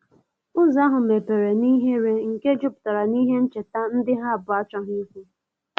Ụzo ahu mepere nihere nke juputara nihe ncheta ndi ha abuo achoghi ikwu